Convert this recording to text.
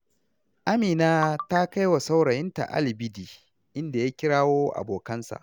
Amina ta kai wa saurayinta alibidi, inda ya kirawo abokansa.